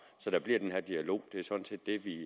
så der bliver den her dialog det er sådan set det vi